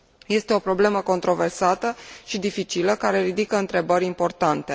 Este o problemă controversată și dificilă, care ridică întrebări importante.